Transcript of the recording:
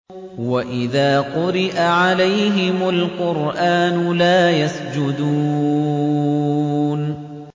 وَإِذَا قُرِئَ عَلَيْهِمُ الْقُرْآنُ لَا يَسْجُدُونَ ۩